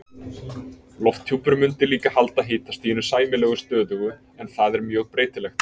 Lofthjúpur mundi líka halda hitastiginu sæmilega stöðugu en það er mjög breytilegt.